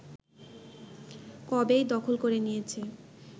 কবেই দখল করে নিয়েছে